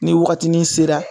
Ni wagatini sera